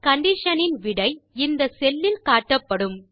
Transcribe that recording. condition இன் விடை இந்த செல் இல் காட்டப்படும்